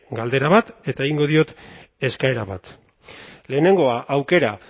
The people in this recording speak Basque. galdera bat eta egingo diot eskaera bat lehenengoa aukera